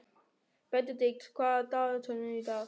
Benedikt, hvað er í dagatalinu í dag?